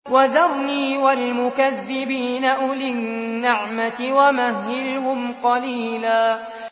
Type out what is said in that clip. وَذَرْنِي وَالْمُكَذِّبِينَ أُولِي النَّعْمَةِ وَمَهِّلْهُمْ قَلِيلًا